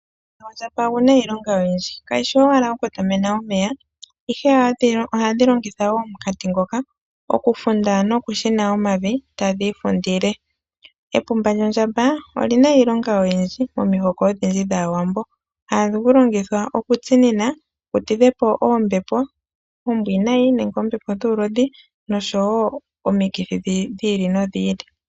Omunkati gondjamba ogu na iilonga oyindji, kayi shi owala okukotamena omeya, ihe ohadhi longitha wo omunkati ngoka okufunda nokushina omavi tadhi ifundile. Epumba lyondjamba oli na iilonga oyindji momihoko odhindji dhAawambo. Ohali longithwa okutsinina li tidhe po oombepo oombwiinayi nenge oombepo dhuulodhi noshowo omikithi dhi ili nodhi ili.